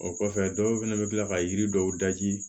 O kɔfɛ dɔw fɛnɛ bɛ kila ka yiri dɔw daji